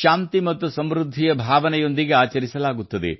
ಶಾಂತಿ ಮತ್ತು ಸಮೃದ್ಧಿಯ ಭಾವನೆಯೊಂದಿಗೆ ಆಚರಿಸಲಾಗುತ್ತದೆ